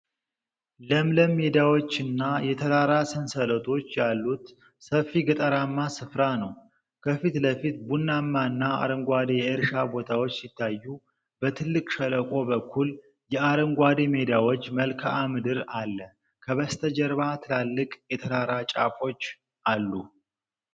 ለምለም ሜዳዎችና የተራራ ሰንሰለቶች ያሉት ሰፊ ገጠራማ ስፍራ ነው። ከፊት ለፊት ቡናማና አረንጓዴ የእርሻ ቦታዎች ሲታዩ፣ በትልቅ ሸለቆ በኩል የአረንጓዴ ሜዳዎች መልክዓ ምድር አለ። ከበስተጀርባ ትላልቅ የተራራ ጫፎች አሉ።